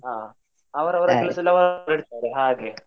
ಹಾ ಅವ್ರ್ ಅವ್ರ ಅವ್ರ್ ಅವ್ರ್ ಇರ್ತರೆ ಹಾಗೆ.